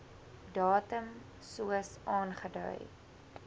datum soos aangedui